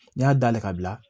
Ne y'a dayɛlɛ ka bila